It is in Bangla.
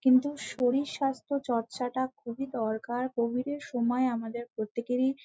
কিন্তু শরীর স্বাস্থ্য চর্চা টা খুবই দরকার কোভিড এর সময় আমাদের প্রত্যেকেরই--